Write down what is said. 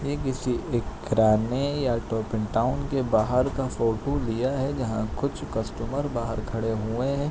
ये किसी एक किराने या के बाहर का फोटो लिया है जहाँ कुछ कस्टमर बाहर खड़े हुए हैं।